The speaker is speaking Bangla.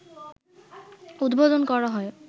উদ্বোধন করা হয়